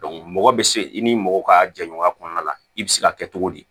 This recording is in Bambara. mɔgɔ bɛ se i ni mɔgɔ ka jɛɲɔgɔnya kɔnɔna la i bɛ se ka kɛ cogo di